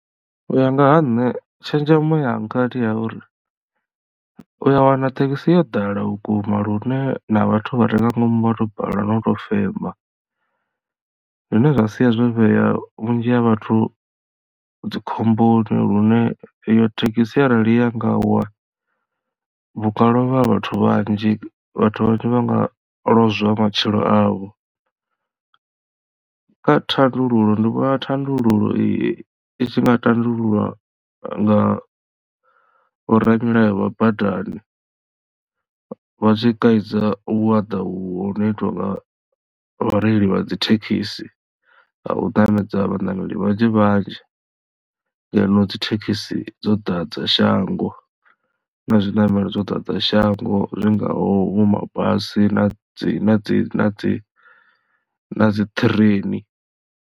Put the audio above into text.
U ya nga ha nṋe tshenzhemo yanga ndi ya uri u ya wana thekhisi yo ḓala vhukuma lune na vhathu vha re nga ngomu vhato balelwa no tou fema zwine zwa sia zwo vhea vhunzhi ha vhathu dzi khomboni lune iyo thekhisi arali ya nga wa hunga lovha vhathu vhanzhi vhathu vhanzhi vha nga lozwa matshilo avho. Kha thandululo ndi vhona thandululo iyi i tshi nga tandululwa nga vho ramilayo vha badani vha tshi kaidza vhuaḓa vhuno itwa nga vhareili vha dzi thekhisi ha u ṋamedza vhaṋameli vhanzhi vhanzhi ngeno dzithekhisi dzo ḓadza shango na zwiṋamelo zwo ḓadza shango zwi ngaho vho mabasi na dzi na dzi na dzi na dzi train.